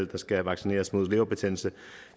der skal vaccineres mod leverbetændelse